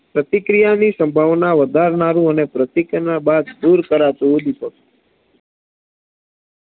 પ્રતિક્રિયાની સંભાવના વધારનારુ અને પ્રતિક્રિયા બાદ દુર કરાતુ ઉદ્દીપક